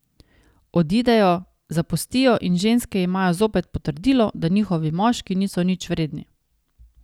Odidejo, zapustijo in ženske imajo zopet potrdilo, da njihovi moški niso nič vredni.